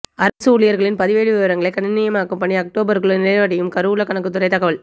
அரசு ஊழியரின் பதிவேடு விவரங்களை கணினிமயமாக்கும் பணிகள் அக்டோபருக்குள் நிறைவடையும் கருவூலக் கணக்குத்துறை தகவல்